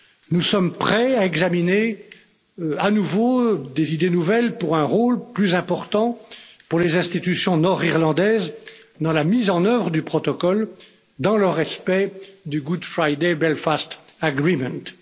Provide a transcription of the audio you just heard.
Nous sommes prêts à examiner à nouveau des idées nouvelles pour un rôle plus important pour les institutions nord irlandaises dans la mise en œuvre du protocole dans le respect du Good Friday Belfast agreement